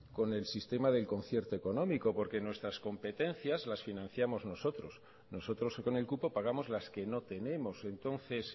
con el sistema del concierto económico porque nuestras competencias las financiamos nosotros nosotros con el cupo pagamos las que no tenemos entonces